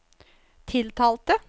tiltalte